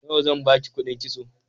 Nawa zan ba ki kuɗin kitso?